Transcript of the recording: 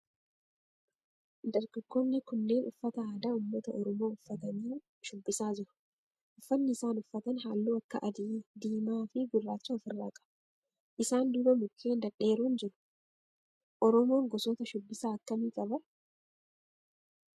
Dargaggoonni kunneen uffata aadaa ummata oromoo uffatanii shubbisaa jiru. Uffanni isaan uffatan halluu akka adii, diimaa fi gurraacha of irraa qaba. Isaan duuba mukkeen dhedheeeroon jiru. Oromoon gosoota shubbisaa akkamii qaba?